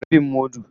Rabin mudu.